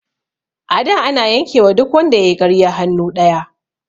A da ana yanke wa duk wanda yayi ƙarya hannu ɗaya